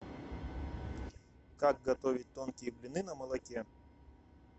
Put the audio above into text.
как готовить тонкие блины на молоке